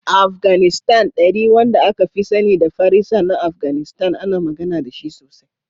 A Afganistan, Dari, wanda aka fi sani da Farisa na Afganistan, ana magana da shi sosai.